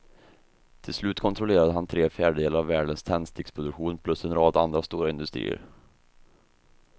Till slut kontrollerade han tre fjärdedelar av världens tändsticksproduktion plus en rad andra stora industrier.